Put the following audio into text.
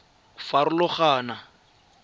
ditlhotlhwa di a farologana go